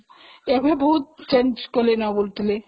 ଏବେ ବହୁତ change କରିଦେଲେଣି